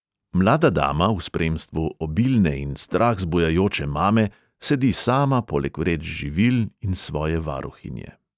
Mlada dama v spremstvu obilne in strah zbujajoče mame sedi sama poleg vreč živil in svoje varuhinje.